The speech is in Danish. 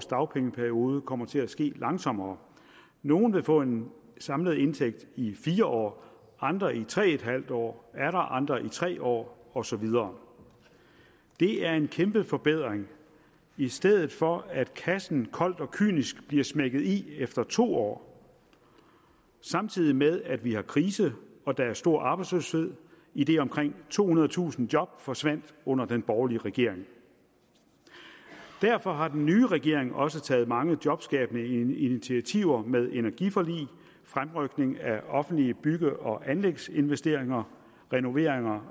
dagpengeperiode kommer til at ske langsommere nogle vil få en samlet indtægt i fire år andre i tre en halv år atter andre i tre år og så videre det er en kæmpe forbedring i stedet for at kassen koldt og kynisk bliver smækket i efter to år samtidig med at vi har krise og der er stor arbejdsløshed idet omkring tohundredetusind job forsvandt under den borgerlige regering derfor har den nye regering også taget mange jobskabende initiativer med energiforlig fremrykning af offentlige bygge og anlægsinvesteringer renovering